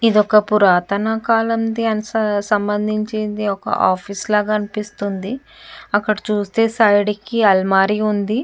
ఇది ఒక పురాతన కాలం నాటికి సంభందించిన ఒక ఆఫీసు లాగా అనిపిస్తుంది. అక్కడ ఆ చూస్తే సైడ్ కి అల్మైర ఉంది.